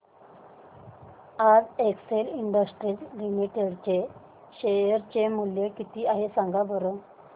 आज Excel Industries Limited चे share चे मूल्य किती आहे सांगा बरं